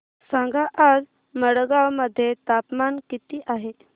सांगा आज मडगाव मध्ये तापमान किती आहे